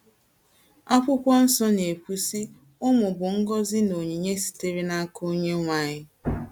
Akwụkwọ nsọ na - ekwu, sị: “ Ụmụ bụ ngọzi na onyinye sitere n’aka ONYENWE ANYỊ. ”